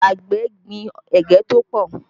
Àgbẹ̀ gbin ẹ̀gẹ́ tó pọ̀